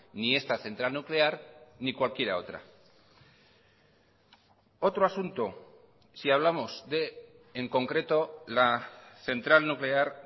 ni esta central nuclear ni cualquier otra otro asunto si hablamos de en concreto la central nuclear